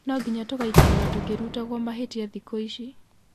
Nonginya tũgaikaraga tũkĩrutaguo mahĩtia thikũ ici.